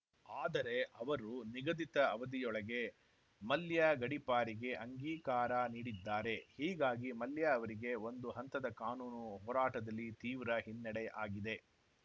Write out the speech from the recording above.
ಆದರೆ ಅವರು ನಿಗದಿತ ಅವಧಿಯೊಳಗೇ ಮಲ್ಯ ಗಡೀಪಾರಿಗೆ ಅಂಗೀಕಾರ ನೀಡಿದ್ದಾರೆ ಹೀಗಾಗಿ ಮಲ್ಯ ಅವರಿಗೆ ಒಂದು ಹಂತದ ಕಾನೂನು ಹೋರಾಟದಲ್ಲಿ ತೀವ್ರ ಹಿನ್ನಡೆ ಆಗಿದೆ